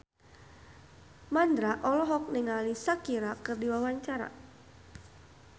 Mandra olohok ningali Shakira keur diwawancara